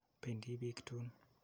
Pendi piik tuun.